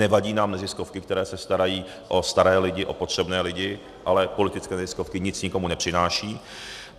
Nevadí nám neziskovky, které se starají o staré lidi, o potřebné lidi, ale politické neziskovky nic nikomu nepřinášejí.